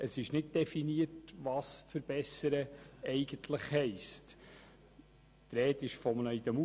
Es ist nicht definiert, was eigentlich unter dem Begriff «verbessern» zu verstehen ist.